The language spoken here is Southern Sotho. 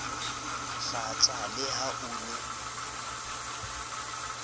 hlatsa le ha o ne